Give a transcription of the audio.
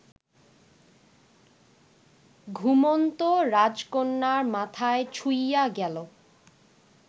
ঘুমন্ত রাজকন্যার মাথায় ছুঁইয়া গেল